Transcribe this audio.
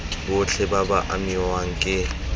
botlhe ba ba amiwang ke